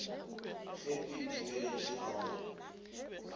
ge o itebeletše ga go